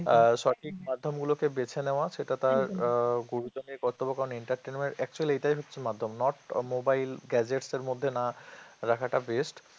আর সঠিক মাধ্যমগুলোকে বেছে নেওয়া সেটা তার গুরুজনের কর্তব্য কারণ entertainment actually এটাই হচ্ছে মাধ্যম not mobile gadgets এর মধ্যে না রাখাটা best